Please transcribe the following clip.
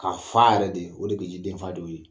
Ka fa yɛrɛ de. O de be ji denfa de y'o ye.